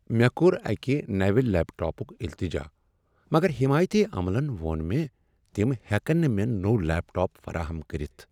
مےٚ کو٘ر اکہِ نوِٚ لیپ ٹاپُك التجا مگر حیمایتی عملن وو٘ن مےٚ تم ہٮ۪کن نہٕ مےٚ نوٚو لیپ ٹاپ فراہم کٔرتھ ۔